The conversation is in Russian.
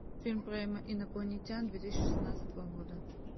фильм про инопланетян две тысячи шестнадцатого года